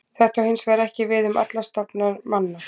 Þetta á hins vegar ekki við um alla stofna manna.